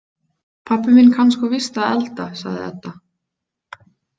Pabbi minn kann sko víst að elda, sagði Edda.